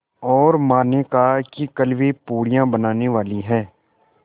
और माँ ने कहा है कि कल वे पूड़ियाँ बनाने वाली हैं